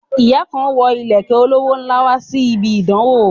Ìyá kan wo ìlẹ̀kẹ̀ olówó ńlá wá síbi ìdánwó